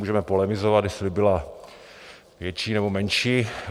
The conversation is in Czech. Můžeme polemizovat, jestli byla větší, nebo menší.